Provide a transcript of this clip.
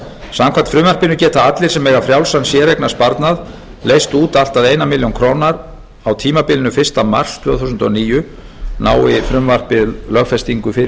samkvæmt frumvarpinu geta allir sem eiga frjálsan séreignarsparnað leyst út allt að eina milljón króna á tímabilinu fyrsta mars tvö þúsund og níu nái frumvarpið lögfestingu fyrir